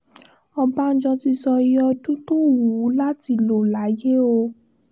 ọ̀bánjọ́ ti sọ iye ọdún tó wù ú láti lò láyé o